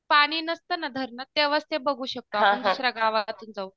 पाणी नसतं ना धरणात तेंव्हाचे आप बघू शकतो आपण दुसऱ्या गावातून जाऊन